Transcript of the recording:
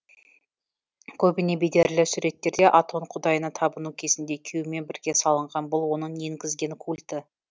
көбіне бедерлі суреттерде атон құдайына табыну кезінде күйеуімен бірге салынған бұл оның енгізген культі